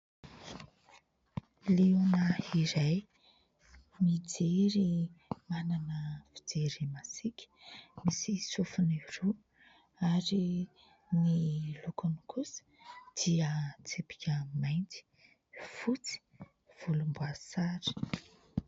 Liona iray mijery, manana fijery masika, misy sofiny roa ary ny lokony kosa dia tsipika mainty, fotsy, volomboasary.